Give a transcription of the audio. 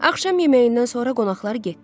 Axşam yeməyindən sonra qonaqlar getdi.